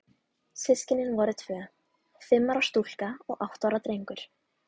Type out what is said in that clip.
Systkinin voru tvö, fimm ára stúlka og átta ára drengur.